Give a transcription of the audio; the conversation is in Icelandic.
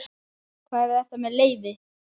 Hver er þetta með leyfi?